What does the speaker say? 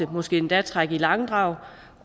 måske endda trække i langdrag